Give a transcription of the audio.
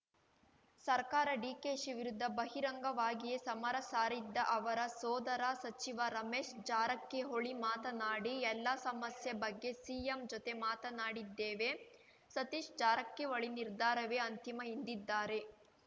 ಸರ್ಕಾರ ಡಿಕೆಶಿ ವಿರುದ್ಧ ಬಹಿರಂಗವಾಗಿಯೇ ಸಮರ ಸಾರಿದ್ದ ಅವರ ಸೋದರ ಸಚಿವ ರಮೇಶ್‌ ಜಾರಕಿಹೊಳಿ ಮಾತನಾಡಿ ಎಲ್ಲ ಸಮಸ್ಯೆ ಬಗ್ಗೆ ಸಿಎಂ ಜೊತೆ ಮಾತನಾಡಿದ್ದೇವೆ ಸತೀಶ್‌ ಜಾರಕಿಹೊಳಿ ನಿರ್ಧಾರವೇ ಅಂತಿಮ ಎಂದಿದ್ದಾರೆ